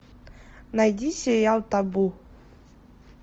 найди сериал табу